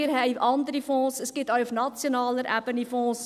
Wir haben andere Fonds, es gibt auch auf nationaler Ebene Fonds.